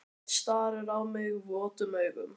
Hann starir á mig votum augum.